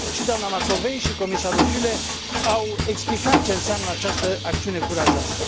Și doamna Macovei și comisarul Füle au explicat ce înseamnă această acțiune curajoasă.